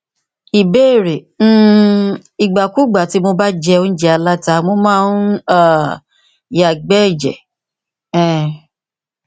ìbéèrè um ìgbàkúùgbà tí mo bá jẹ óújẹ aláta mo máa ń um yàgbẹ ẹjẹ um